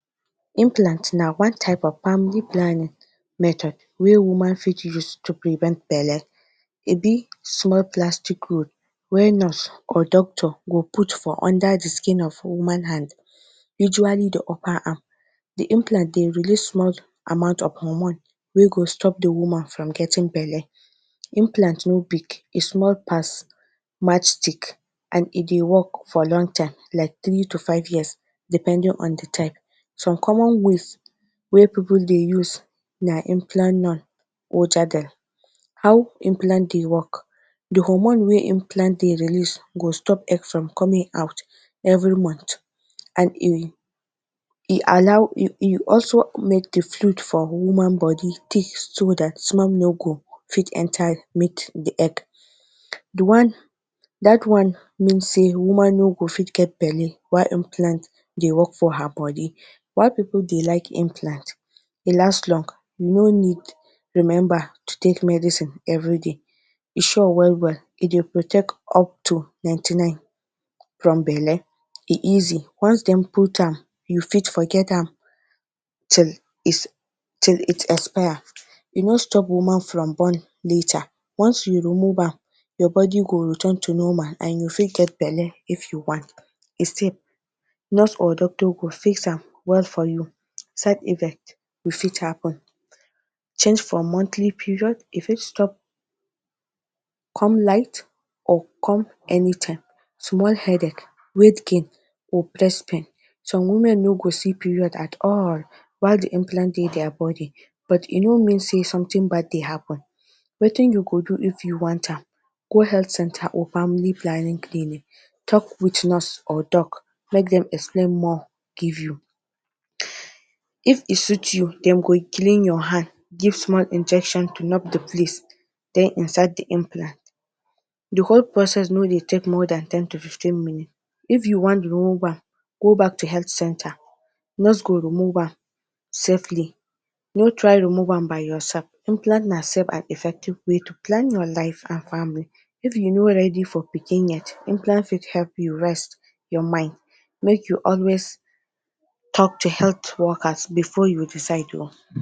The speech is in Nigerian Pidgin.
Implant na one type of family planning method wey woman fit use to prevent belle. E be small plastic rod wey nurse or doctor go put for under the skin of woman hand, usually the upper arm. The implant dey release small amount of hormone wey go stop the woman from getting belle. Implant no big, e small pass matchstick and e dey work for long time like three to five years depending on the type. Some common ways wey pipu dey use na implanon or. How implant dey work: The hormone wey implant dey release go stop egg from coming out every month and e e allow e e also make the fluid for woman body thick so that sperm no go fit enter meet the egg. The one that one mean sey woman no go fit get belle while implant dey work for her body. Why pipu dey like implant? E last long. No need remember to take medicine everyday. E sure well well. E dey protect up to ninety nine from belle. E easy. Once dem put am, you fit forget am till is till it expire. E no stop woman from born later. Once you remove am, your body go return to normal and you go fit get belle if you want. E safe. Nurse or doctor go fix am well for you. Side effect wey fit happen: Change for monthly period. E fit stop, come night or come anytime, small headache, weight gain or breast pain. Some women no go see period at all, while the implant dey their body, but e no mean sey something bad dey happen. Wetin you go do if you want am: Go health centre or family planning clinic. Talk with nurse or doc make dem explain more give you. If e suit you, dem go clean your hand, give small injection to the place, then insert the implant. The whole process no dey take more than ten to fifteen minutes. If you want remove am, go back to health centre. Nurse go remove am safely. No try remove am by yourself. Implant na safe and effective way to plan your life and family. If you no ready for pikin yet, implant fit help you rest your mind. Make you always talk to health workers before you decide o.